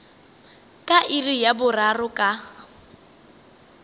ka iri ya boraro ka